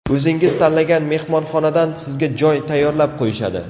O‘zingiz tanlagan mehmonxonadan sizga joy tayyorlab qo‘yishadi.